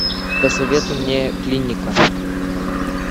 посоветуй мне клиника